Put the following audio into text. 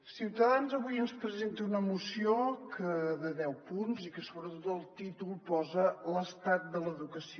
ciutadans avui ens presenta una moció de deu punts i que sobretot al títol posa l’estat de l’educació